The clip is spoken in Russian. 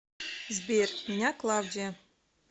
сбер меня клавдия